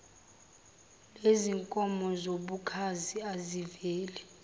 lezinkomo zobukhazi aziveli